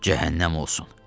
Cəhənnəm olsun.